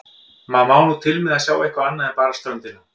Maður má nú til með að sjá eitthvað annað en bara ströndina.